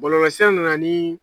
Bɔlɔlɔlsira nana ni